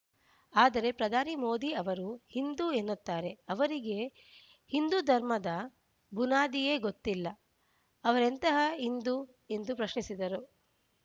ಆದರೆ ಪ್ರಧಾನಿ ಮೋದಿ ಅವರು ಹಿಂದು ಎನ್ನುತ್ತಾರೆ ಅವರಿಗೆ ಹಿಂದು ಧರ್ಮದ ಬುನಾದಿಯೇ ಗೊತ್ತಿಲ್ಲ ಅವರೆಂತಹ ಹಿಂದು ಎಂದು ಪ್ರಶ್ನಿಸಿದ್ದರು